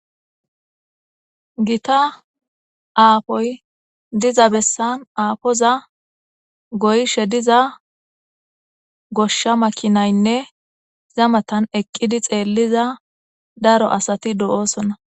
Gita aafoy diza bessan aafoza goyishe diza goshsha makinaynne zamatan eqqidi xeelliza daro asati do'oosona.